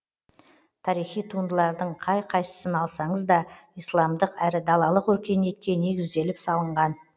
тарихи туындылардың қай қайсысын алсаңыз да исламдық әрі далалық өркениетке негізделіп салынған